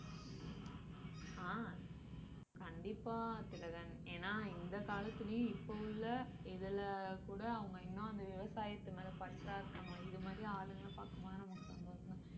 ஆஹ் கண்டிப்பா திலகன் ஏன்னா இந்த காலத்திலேயும் இப்போ உள்ள இதிலே கூட அவங்க இன்னும் அந்த விவசாயத்து மேலே பற்றா இருக்காங்க இது மாதிரி ஆளுங்களை பார்க்கும் போது நமக்கு ரொம்ப சந்தோஷம்